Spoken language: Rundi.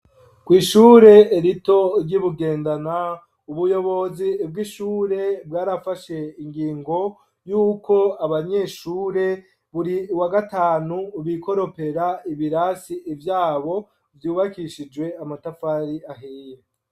kw'ishure rito ryi Bugendana ubuyobozi bw'ishure bwarafashe ingingo yuko abanyeshure buri wagatanu bikoropera ibirasi ivyabo vyubakishijwe amatafari ahiye